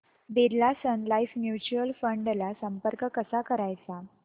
Birla Sun Life mutual fund ला संपर्क कसा करायचा